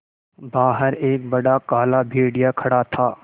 बाहर एक बड़ा काला भेड़िया खड़ा था